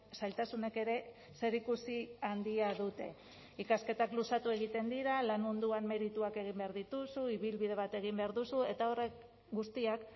zailtasunek ere zerikusi handia dute ikasketak luzatu egiten dira lan munduan merituak egin behar dituzu ibilbide bat egin behar duzu eta horrek guztiak